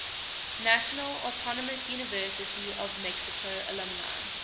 national autonomous university of mexico alumni